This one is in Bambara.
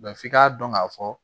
f'i ka dɔn ka fɔ